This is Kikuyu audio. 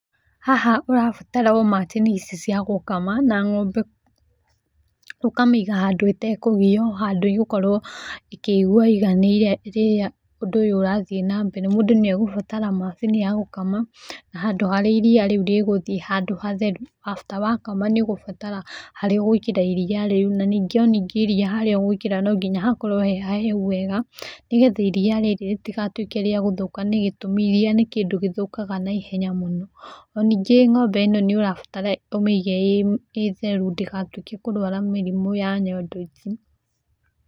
Haha ũrabatara o macini ici ciagũkama na ng'ombe. ũkamĩga handũ ĩtekũgio handũ ĩgũkorwo ĩkĩigua ĩganĩire rĩrĩa ũndũ ũrathiĩ na mbere. Mũndũ nĩagũbatara macini yagũkama handũ harĩa iriya rĩu rĩgũthiĩ handũ hatheru. Afte wakama nĩũgũbatara wakama nĩũgũbatara iriya rĩu na nyingĩ o nyingĩ iriya harĩa ũgwĩkĩra no nginya hakorwo hehahehu wega nĩgetha iria rĩrĩ rĩtigatuĩke rĩa gũthũka nĩgĩtũmi iriya nĩkĩndũ gĩthũkaga na ihenya mũno. Nanyingĩ ng'ombe ĩno nĩũrabatara ũmĩige ĩtheru ndĩgatuĩke kũrwarwa mĩrimũ ya nyondo ici.